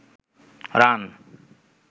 run